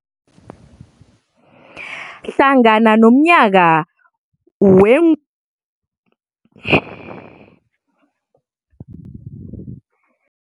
Hlangana nomnyaka wee-2017 newe-2020, pheze kwafakwa amabhizinisi ama500 ukutlolisela ubulunga kuKomitjhini ye-B-BBEE